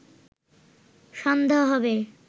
সন্ধ্যা হবে